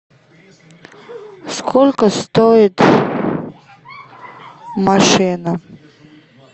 сколько стоит машина